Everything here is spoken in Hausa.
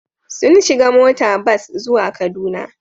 Sun shiga mota bas zuwa Kaduna.